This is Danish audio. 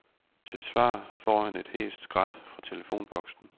Til svar får han et hæst skrat fra telefonboksen.